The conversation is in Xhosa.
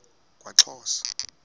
kwaxhosa